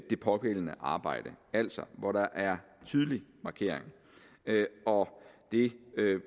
det pågældende arbejde altså hvor der er tydelig markering og det